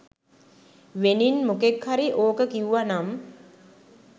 වෙනින් මොකෙක් හරි ඕක කිව්වා නම්